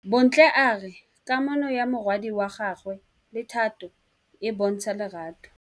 Bontle a re kamanô ya morwadi wa gagwe le Thato e bontsha lerato.